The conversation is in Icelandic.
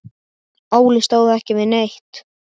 Óli stóð ekki við neitt.